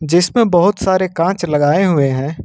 जिसमें बहोत सारे कांच लगाए हुए हैं।